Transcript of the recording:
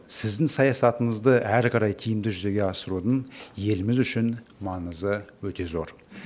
сіздің саясатыңызды әрі қарай тиімді жүзеге асырудың еліміз үшін маңызы өте зор